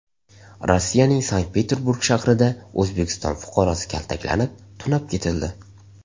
Rossiyaning Sankt-Peterburg shahrida O‘zbekiston fuqarosi kaltaklanib, tunab ketildi.